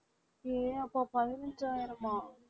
ஏ அப்பா பதினைஞ்சாயிரம்